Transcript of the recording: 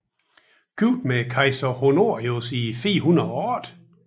Gift med kejser Honorius i 408